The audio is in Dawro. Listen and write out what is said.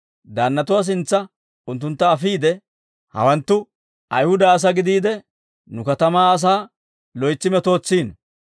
Daannatuwaa sintsa unttuntta afiide, «Hawanttu Ayihuda asaa gidiide, nu katamaa asaa loytsi metootsiino.